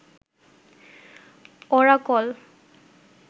Oracle